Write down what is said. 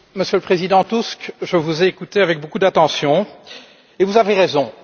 Monsieur le Président Tusk, je vous ai écouté avec beaucoup d'attention et vous avez raison.